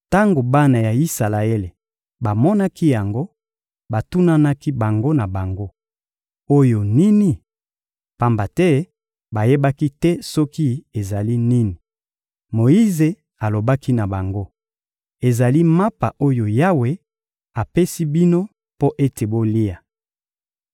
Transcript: Tango bana ya Isalaele bamonaki yango, batunanaki bango na bango: — Oyo nini? Pamba te bayebaki te soki ezali nini. Moyize alobaki na bango: — Ezali mapa oyo Yawe apesi bino mpo ete bolia.